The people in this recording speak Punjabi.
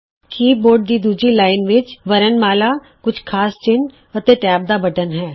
ਕੀ ਬੋਰਡ ਦੀ ਦੂਜੀ ਲਾਈਨ ਵਿੱਚ ਵਰਣਮਾਲਾ ਕੁਝ ਖਾਸ ਚਿੰਨ੍ਹ ਅਤੇ ਟੈਬ ਦਾ ਬਟਨ ਹੈ